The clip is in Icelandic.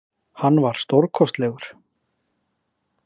Alls voru átta